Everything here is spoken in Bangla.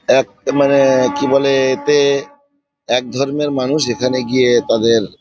এক এ মানে-এ কি বলে-এ এতে একধর্মের মানুষ এখানে গিয়ে তাদের--